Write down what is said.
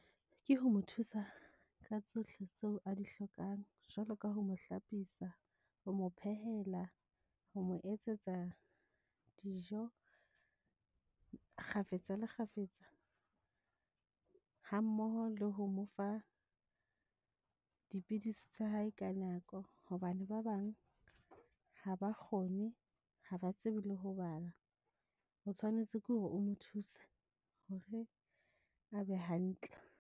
Ke ho mo thusa ka tsohle tseo a di hlokang. Jwalo ka ho mo hlapisa, ho mo phehela ho mo etsetsa dijo kgafetsa le kgafetsa. Hammoho le ho mo fa dipidisi tsa hae ka nako. Hobane ba bang ha ba kgone ha ba tsebe le ho bala. O tshwanetse ke hore o nthuse hore a be hantle.